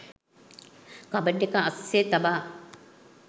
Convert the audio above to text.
cupboard එක අස්සේ තබා